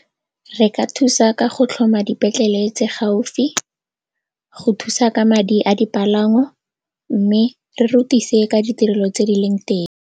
Re ka thusa ka go tlhoma dipetlele tse gaufi, go thusa ka madi a dipalangwa mme re rutise ka ditirelo tse di leng teng.